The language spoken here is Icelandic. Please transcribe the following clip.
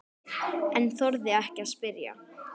En þorði ekki að spyrja.